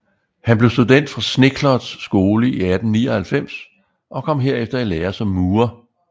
Han blev student fra Schneekloths Skole i 1899 og kom herefter i lære som murer